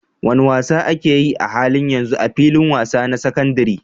Wane wasa ake yi a halin yanzu a filin wasa na sakandaren?